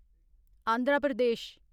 Andhra Pradesh